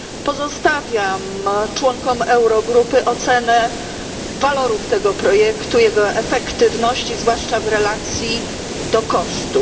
Pozostawiam członkom Eurogrupy ocenę walorów tego projektu, jego efektywności, zwłaszcza w relacji do kosztów.